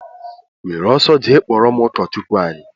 Were ọsọ jee kpọrọ m ụkọchukwu anyị!!!!